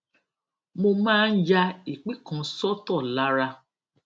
mo máa ń ya ìpín kan sótò lára